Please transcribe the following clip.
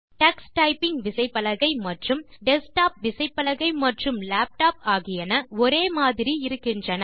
Tux typing விசைப்பலகை மற்றும் desktop விசைப்பலகை மற்றும் லேப்டாப் ஆகியன ஒரே மாதிரி இருக்கின்றன